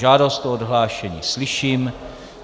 Žádost o odhlášení slyším.